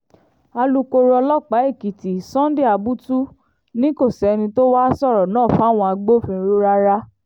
alūkkóró ọlọ́pàá èkìtì sunday abutu ni kò sẹ́ni tó wàá sọ̀rọ̀ náà fáwọn agbófinró rárá